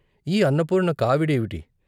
ఈ అన్నపూర్ణ కావిడేవిటి?